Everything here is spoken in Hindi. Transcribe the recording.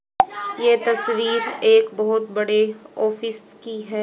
ये तस्वीर एक बहोत बड़े ऑफिस की है।